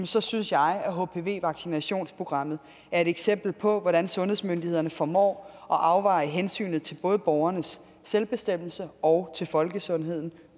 så synes jeg at hpv vaccinationsprogrammet er et eksempel på hvordan sundhedsmyndighederne formår at afveje hensynet både til borgernes selvbestemmelse og til folkesundheden